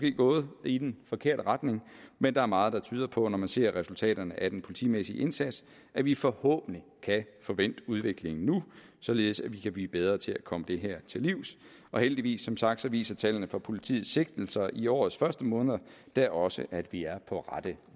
er gået i den forkerte retning men der er meget der tyder på når man ser resultaterne af den politimæssige indsats at vi forhåbentlig kan få vendt udviklingen nu således at vi kan blive bedre til at komme det her til livs heldigvis som sagt viser tallene fra politiets sigtelser i årets første måneder da også at vi er på rette